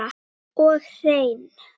Og hreinn.